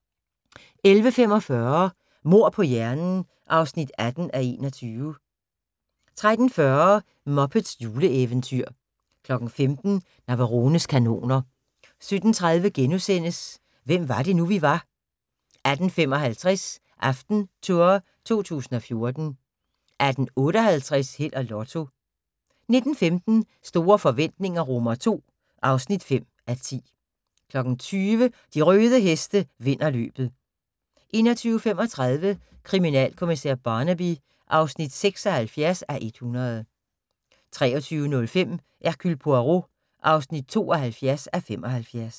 11:45: Mord på hjernen (18:21) 13:40: Muppets juleeventyr 15:00: Navarones kanoner 17:30: Hvem var det nu, vi var * 18:55: AftenTour 2014 18:58: Held og Lotto 19:15: Store forretninger II (5:10) 20:00: De røde heste vinder løbet 21:35: Kriminalkommissær Barnaby (76:100) 23:05: Hercule Poirot (72:75)